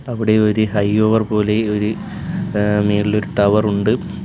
അവിടെ ഒര് high over പോലെ ഒരു ഏഹ് മേളിലൊരു ടവറുണ്ട് .